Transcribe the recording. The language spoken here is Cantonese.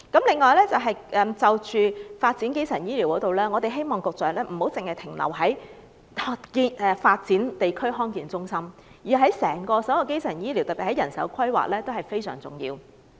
此外，在發展基層醫療方面，我們希望局長不要只停留在發展康健中心，而是就整個基層醫療作出規劃，特別是人手規劃，那是非常重要的。